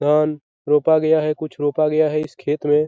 धान रोपा गया है कुछ रोपा गया है इस खेत में।